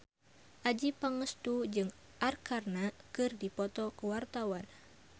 Adjie Pangestu jeung Arkarna keur dipoto ku wartawan